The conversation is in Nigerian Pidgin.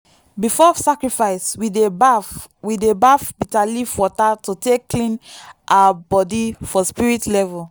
before sacrifice we dey baff we dey baff bitterleaf water to take clean our body for spirit level.